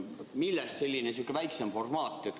Millest selline väiksem formaat?